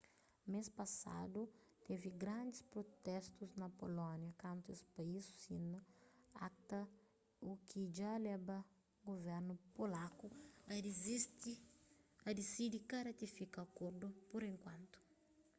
mês pasadu tevi grandis prutestu na pulónia kantu es país sina acta u ki dja leba guvernu polaku a disidi ka ratifika akordu pur enkuantu